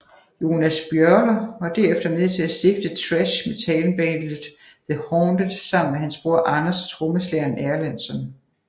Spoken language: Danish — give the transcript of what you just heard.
Jonas Björler var derefter med til at stifte thrash metalbandet The Haunted sammen med hans bror Anders og trommeslageren Erlandsson